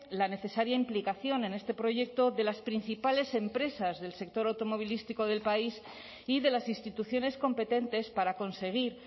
la necesaria implicación en este proyecto de las principales empresas del sector automovilístico del país y de las instituciones competentes para conseguir